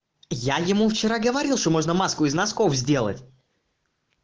я ему вчера говорил что можно маску из носков сделать